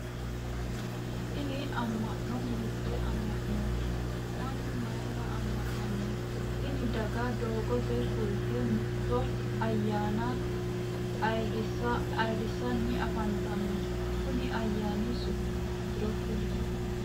Tinni amma'no hiitee amma'noiti? Mannu mayira amma'nanno? Tinni daga doogote fulte mitto ayaanna hayirisanni afantanno konni ayaanni su'mi maatiro kuli?